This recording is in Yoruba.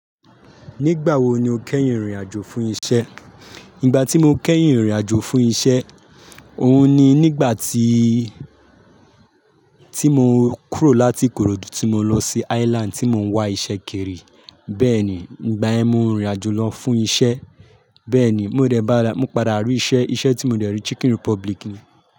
Nígbà wo ni o kẹ́yìn rìnrìn àjò fún isẹ́? Nígbà tí mo kẹ́yìn rìnrìn àjò fún isẹ́, òun ni nígbà tí, tí mo kúrò láti Ikorodu tí mo lọ sí Island tí mò ń wá isẹ́ kiri. Bẹ́ẹ̀ni, ìgbà ẹ́ mo rìnrìn àjò lọ fún isẹ́. Bẹ́ẹ̀ni, mo rẹ bá, mo padà rí isẹ́, isẹ́ tí mo dẹ̀ rí Chicken Republic ni.